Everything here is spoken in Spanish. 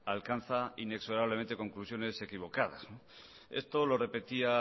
alcanza inexorablemente conclusiones equivocadas esto lo repetía